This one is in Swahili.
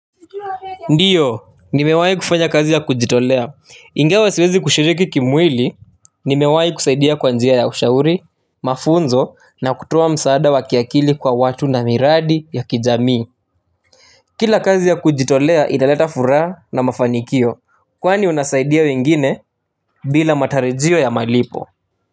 Ndio, nimewahi kufanya kazi ya kujitolea ingawa siwezi kushiriki kimwili nimewahi kusaidia kwa njia ya ushauri mafunzo na kutoa msaada wa kiakili kwa watu na miradi ya kijamii kila kazi ya kujitolea inaleta furaha na mafanikio kwani unasaidia wengine bila matarajio ya malipo Muzika.